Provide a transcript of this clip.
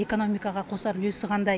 экономикаға қосар үлесі қандай